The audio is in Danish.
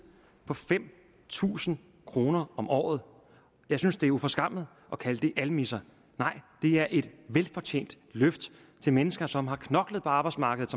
på fem tusind kroner om året jeg synes det er uforskammet at kalde det almisser nej det er et velfortjent løft til mennesker som har knoklet på arbejdsmarkedet